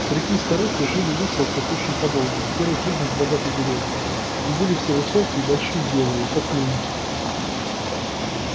старики и старухи жили в выселках очень подолгу первый признак богатой деревни и были все высокие большие и белые как лунь